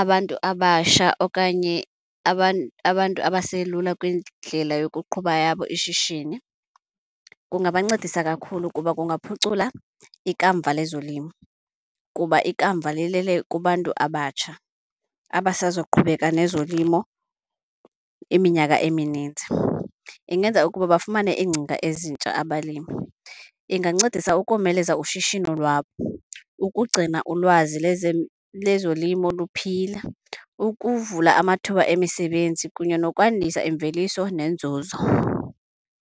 abantu abasha okanye abantu abaselula kwindlela yokuqhuba yabo ishishini, kungabancedisa kakhulu kuba kungaphucula ikamva lezolimo kuba ikamva lilele kubantu abatsha abasozoqhubeka nezolimo iminyaka emininzi. Ingenza ukuba bafumane iingcinga ezintsha abalimi, ingancedisa ukomeleza ushishino lwabo, ukugcina ulwazi lezolimo luphila, ukuvula amathuba emisebenzi kunye nokwandisa imveliso nenzuzo.